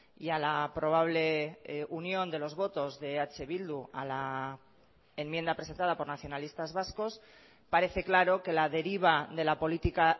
y a la probable unión de los votos de eh bildu a la enmienda presentada por nacionalistas vascos parece claro que la deriva de la política